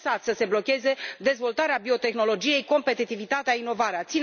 Nu lăsați să se blocheze dezvoltarea biotehnologiei, competitivitatea, inovarea.